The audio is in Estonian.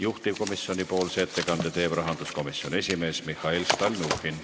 Juhtivkomisjoni ettekande teeb rahanduskomisjoni esimees Mihhail Stalnuhhin.